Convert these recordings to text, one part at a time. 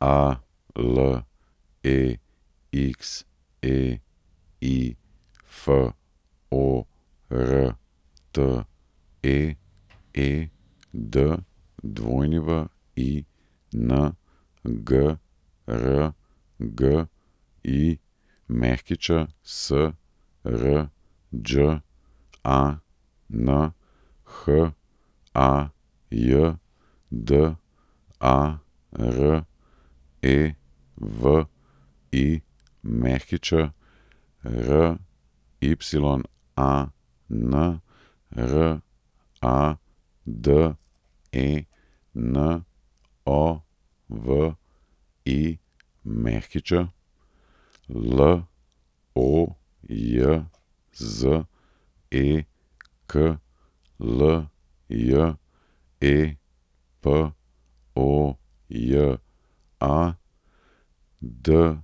Alexei Forte, Edwin Grgić, Srđan Hajdarević, Ryan Radenović, Lojzek Ljepoja, Dražen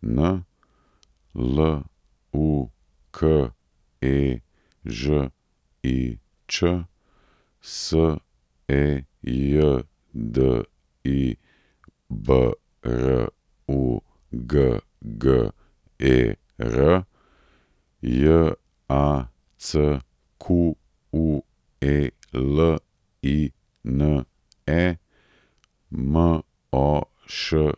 Lukežič, Sejdi Brugger, Jacqueline Moškon.